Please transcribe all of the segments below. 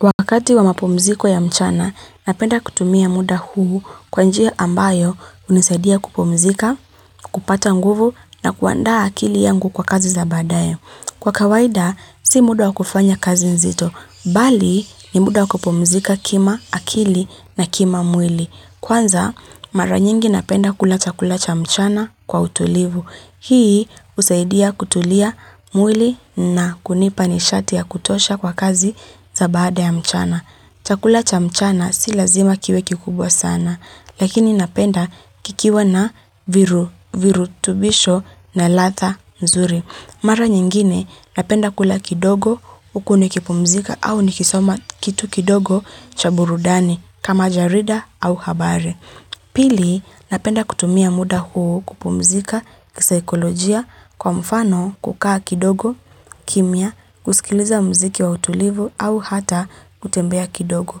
Wakati wa mapomziko ya mchana, napenda kutumia muda huu kwanji ambayo unisaidia kupomzika, kupata nguvu na kuanda akili yangu kwa kazi za badayo. Kwa kawaida, si muda kufanya kazi nzito, bali ni muda kupomzika kima akili na kima mwili. Kwanza, mara nyingi napenda kula chakula cha mchana kwa utulivu. Hii usaidia kutulia mwili na kunipani shati ya kutosha kwa kazi za baada ya mchana. Chakula cha mchana si lazima kiwe kikubwa sana, lakini napenda kikiwa na viru, viru tubisho na latha mzuri. Mara nyingine napenda kula kidogo ukune kipumzika au nikisoma kitu kidogo cha burudani kama jarida au habare. Pili napenda kutumia muda huu kupumzika kisaikolojia kwa mfano kukaa kidogo kimia kusikiliza mziki wa utulivu au hata kutembea kidogo.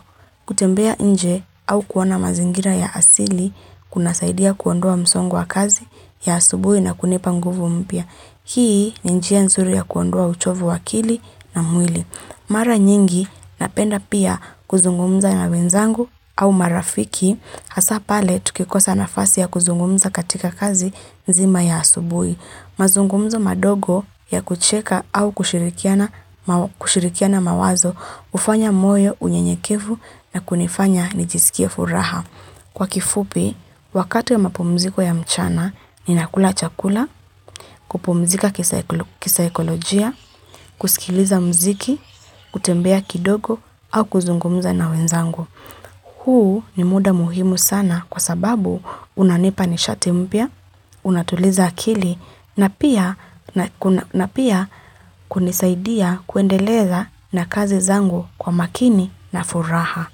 Kutembea nje au kuona mazingira ya asili kuna saidia kuondua msongo wa kazi ya asubui na kunipanguvu mpia. Hii ni njia nzuri ya kuondua uchovu wakili na mwili. Mara nyingi napenda pia kuzungumza na wenzangu au marafiki hasapale tukikosa na fasi ya kuzungumza katika kazi nzima ya asubui. Mazungumzo madogo ya kucheka au kushirikiana mawazo ufanya moyo unye nyekevu na kunifanya nijisikia furaha. Kwa kifupi, wakatu ya mapumziko ya mchana, ni nakula chakula, kupumzika kisa ekolojia, kusikiliza mziki, kutembea kidogo, au kuzungumuza na wenzangu. Huu ni muda muhimu sana kwa sababu unanipa ni shatimpia, unatuliza akili, na pia kunisaidia kuendeleza na kazi zangu kwa makini na furaha.